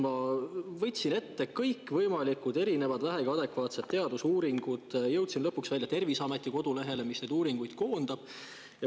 Ma võtsin ette kõikvõimalikud vähegi adekvaatsed teadusuuringud ja jõudsin lõpuks välja Terviseameti kodulehele, kuhu need uuringud on koondatud.